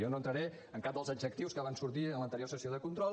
jo no entraré en cap dels adjectius que van sortir en l’anterior sessió de control